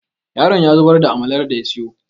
yaron ya zubar da amalar da ya siyo